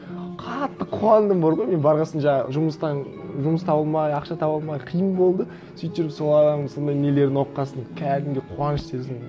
қатты қуандым бар ғой мен барған сон жаңа жұмыстан жұмыс таба алмай ақша таба алмай қиын болды сөйтіп жүріп сол адамның сондай нелерін оқыған сон кәдімгідей қуаныш сездім